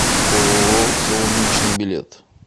ооо солнечный билет